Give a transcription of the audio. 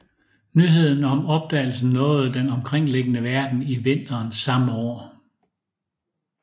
Nyheden om opdagelsen nåede den omkringliggende verden i vinteren samme år